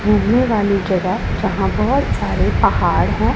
घूमने वाली जगह जहां बहोत सारे पहाड़ हैं।